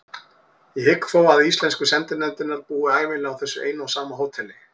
Ég hygg þó að íslensku sendinefndirnar búi ævinlega á þessu eina og sama hóteli.